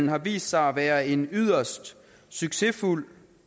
har vist sig at være en yderst succesfuld